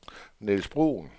Nils Bruhn